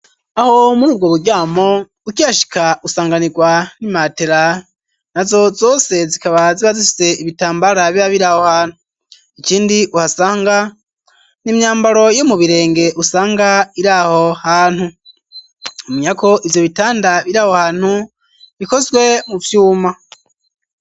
Aho muri ubwo buryamo ukyashika usanganirwa n'i matela na zo zose zikaba ziba zifise ibitambara bia biri aho hantu icindi uhasanga n'imyambaro yo mu birenge usanga iri aho hantu umunyako ivyo bitanda biri aho hantu bikozwe mu vyuma.